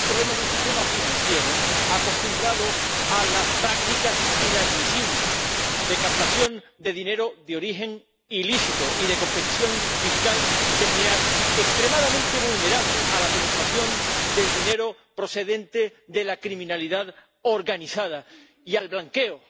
Sí tiene un problema de un sistema financiero acostumbrado a las prácticas inadmisibles de captación de dinero de origen ilícito y de competición fiscal desleal, extremadamente vulnerable a la penetración del dinero procedente de la criminalidad organizada y al blanqueo.